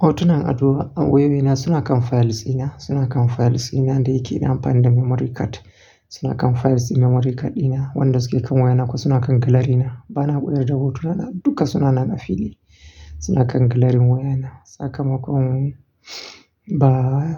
Hotunan ado a wewena suna kan fayilsi na, suna kan fayilsi na da yake nan akan memory card. Suna kan fayilsi memory card dina wanda suke kan wayana kuma suna kan gallery na. Bana buɗe dabar hotuna duka suna nan a fili, suna kan gallery wayana. Saka makon ba